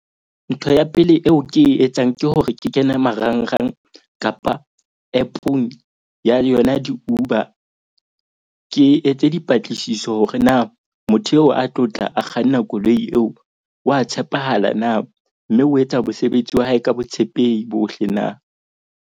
Ntho ya pele eo ke e etsang ke hore ke kene marangrang kapa app-ong ya yona di-Uber. Ke etse dipatlisiso hore na motho eo a tlo tla a kganna koloi eo wa tshepahala na. Mme o etsa mosebetsi wa hae ka botshepehi bohle na?